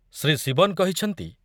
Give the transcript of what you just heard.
ଶ୍ରୀ ଶିବନ କହିଛନ୍ତି